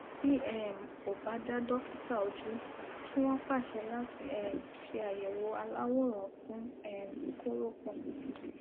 tí um ò bá dá dọkítà ójú kí wọn pàṣẹ láti um ṣe àyèwò aláwòrán fún um kóropọn